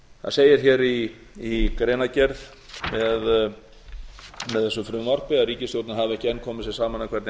það segir hér í greinargerð með þessu frumvarpi að ríkisstjórnin hafi ekki enn komið sér saman um hvernig